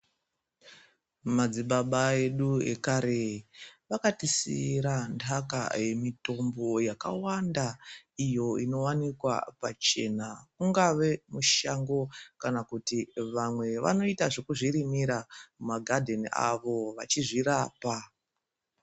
Madzibaba edu ekare vakatisiira ntaka yemitombo yakawanda iyo inowanikwa pachena mungave mushango kana kuti vamwe vanoita zvekuzvirimira mumagadheni avo vachizvirapa.